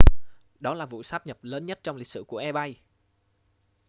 đó là vụ sát nhập lớn nhất trong lịch sử của ebay